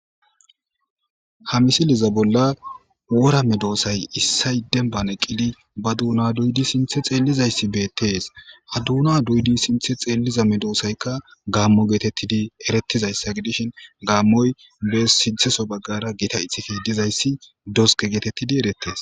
Ha misiliza bolla wora me doosay issay demban eqqidi ba duuna duydi sinthe xeellizayssi beettees ha duuna duyudi sinthe xeelliza medoosaykka gaammo geetettidi erettizayssa gidishin gaammoy be sintheso baggara gita itifi dizayssi doske geetettidi erettees.